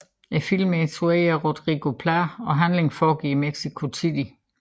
Filmen er instrueret af Rodrigo Plá og handlingen foregår i Mexico City